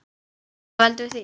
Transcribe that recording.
Hvað veldur því?